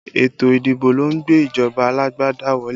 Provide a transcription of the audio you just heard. Ètò ìdìbò lọ ń gbé ìjọba alágbádá wọlé